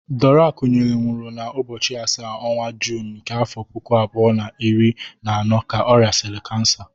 Dora Akunyili nwụrụ na ụbọchị asaa ọnwa Juun nke afọ puku abụọ na iri na anọ ka ọ rịasịrị kansa.